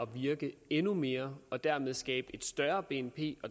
virke endnu mere og dermed skabe et større bnp